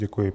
Děkuji.